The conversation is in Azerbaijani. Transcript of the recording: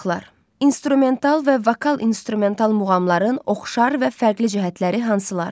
İnstrumental və vokal instrumental muğamların oxşar və fərqli cəhətləri hansılardır?